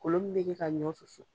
Kolon min be kɛ ka ɲɔ susu